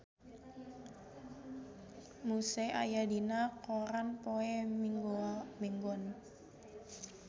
Muse aya dina koran poe Minggon